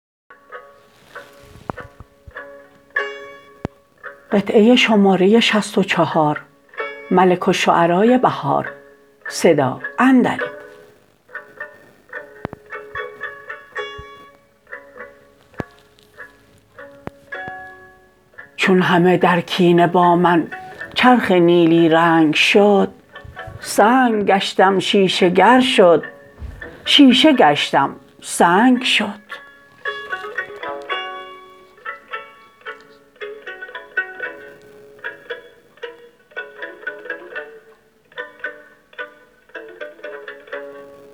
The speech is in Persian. چون همه درکینه با من چرخ نیلی رنگ شد سنگ گشتم شیشه گر شد شیشه گشتم سنگ شد